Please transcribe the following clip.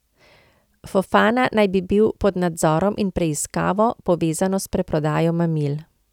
Fofana naj bi bil pod nadzorom in preiskavo, povezano s preprodajo mamil.